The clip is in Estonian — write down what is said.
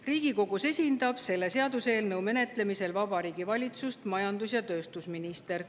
Riigikogus esindab selle seaduseelnõu menetlemisel Vabariigi Valitsust majandus‑ ja tööstusminister.